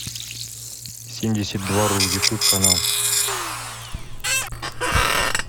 семьдесят два ру ютуб канал